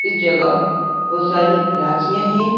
इस जगह बहुत सारी राखियाँ हैं।